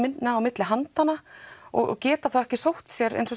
á milli handanna og geta þá ekki sótt sér eins og